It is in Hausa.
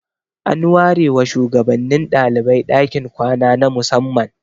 An ware wa shugabannin dalibai dakin kwana na musamman.